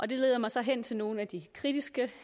det leder mig så hen til nogle af de kritiske